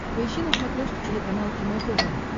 поищи на смотрешке телеканал кино тв